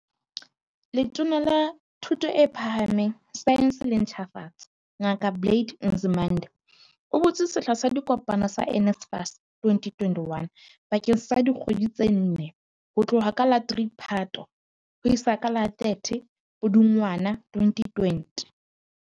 Letona la Thuto e Phaha meng, Saense le Ntjhafatso, Ngaka Blade Nzimande, o butse sehla sa dikopo sa NSFAS 2021 bakeng sa dikgwedi tse nne, ho tloha ka la 3 Phato ho isa ka la 30 Pudungwana 2020.